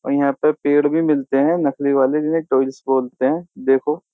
और यहां पर पेड़ भी मिलते हैं नकली वाले जिन्हें टोइल्स बोलते हैं देखो --